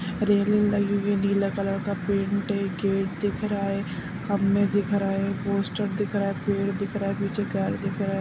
रेलिंग लगी हुई है नीला कलर का पेंट है गेट दिख रहा है खम्बे दिख रहा है पोस्टर दिख रहा है पेड़ दिख रहा है पीछे घर दिख रहा है।